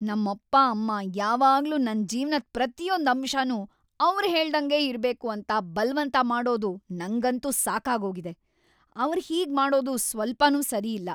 ನಮ್ಮಪ್ಪ ಅಮ್ಮ ಯಾವಾಗ್ಲೂ ನನ್ ಜೀವ್ನದ್ ಪ್ರತಿಯೊಂದ್ ಅಂಶನೂ ಅವ್ರ್‌ ಹೇಳ್ದಂಗೇ ಇರ್ಬೇಕು ಅಂತ ಬಲ್ವಂತ ಮಾಡೋದು ನಂಗಂತೂ ಸಾಕಾಗೋಗಿದೆ. ಅವ್ರ್‌ ಹೀಗ್‌ ಮಾಡೋದು ಸ್ವಲ್ಪನೂ ಸರಿಯಿಲ್ಲ.